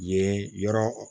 Yen yɔrɔ